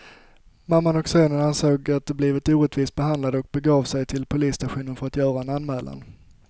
Mamman och sonen ansåg att de blivit orättvist behandlade och begav de sig till polisstationen för att göra en anmälan.